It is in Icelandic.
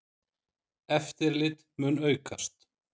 Eftirlit mun aukast.